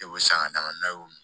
E bɛ san ka d'a ma n'a y'o min